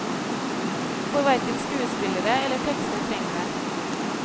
For hverken skuespillere eller tekster trenger det.